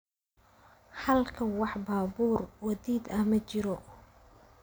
Halkan wax baabuur wadid ah ma jiro."